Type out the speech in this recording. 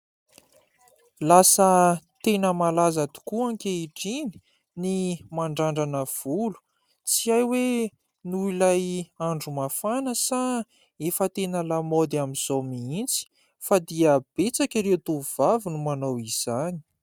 Lasa tena malaza tokoa ankehitriny ny mandrandrana volo. Tsy hay oe noho ilay andro mafana, sa efa tena lamaody amin'izao mihintsy? Fa dia betsaka ireo tovovavy no manao izany.